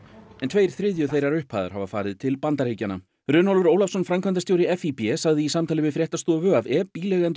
en tveir þriðju þeirrar upphæðar hafa farið til Bandaríkjanna Runólfur Ólafsson framkvæmdastjóri FÍB sagði í samtali við fréttastofu að ef